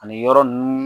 Ani yɔrɔ ninnu